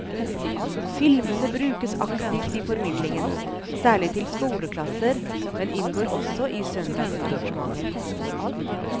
Filmene brukes aktivt i formidlingen, særlig til skoleklasser, men inngår også i søndagsarrangementer.